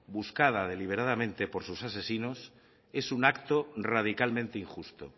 buscada deliberadamente por sus asesinos es un acto radicalmente injusto